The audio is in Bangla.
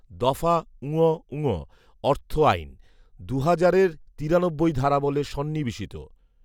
দফা ঙঙ অর্থ আইন, দুহাজারের তিরানব্বই ধারাবলে সন্নিবেশিত